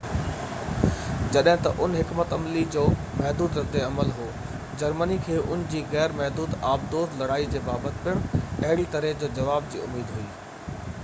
جڏهن ته ان حڪمت عملي جي محدود رد عمل هو جرمني کي ان جي غير محدود آبدوز لڙائي جي بابت پڻ اهڙي طرح جي جواب جي اميد هئي